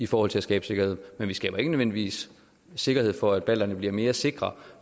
for at skabe sikkerhed vi skaber ikke nødvendigvis sikkerhed for at balterne bliver mere sikre